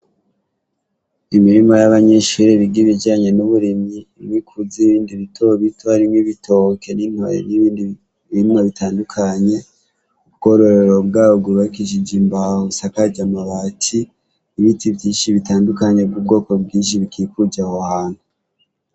Imirima yabanyeshure biga bijanye n' uburimy' ibikuze, ibindi bitobito harimwo n ibitoki n ibindi barima bitandukanye , ubwororero bwabo bwubakishij imbaho bisakaj amabati, ibiti vyinshi bitandukanye vy' ubwoko bwinshi bikikuj' aho hantu.